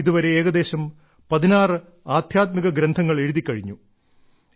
അദ്ദേഹം ഇതുവരെ ഏകദേശം 16 ആദ്ധ്യാത്മിക ഗ്രന്ഥങ്ങൾ എഴുതിക്കഴിഞ്ഞു